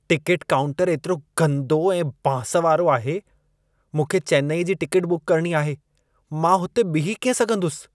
Ticket काउंटरु एतिरो गंदो ऐं बांस वारो आहे। मूंखे चेन्नईअ जी टिकेट बुकु करणी आहे, मां उते बीहु कीअं सघंदसि?